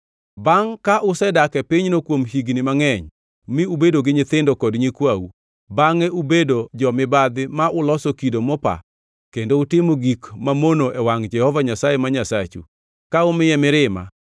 Bangʼ ka usedak e pinyno kuom higni mangʼeny mi ubedo gi nyithindo kod nyikwau, bangʼe ubedo jo-mibadhi ma uloso kido mopa kendo utimo gik mamono e wangʼ Jehova Nyasaye ma Nyasachu, ka umiye mirima;